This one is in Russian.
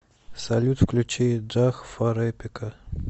салют включи джах фар эпика